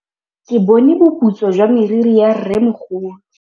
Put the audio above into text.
Ke bone boputswa jwa meriri ya rrêmogolo.